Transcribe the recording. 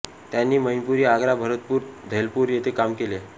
त्यांनी मैनपुरी आग्रा भरतपूर धौलपूर येथे काम केले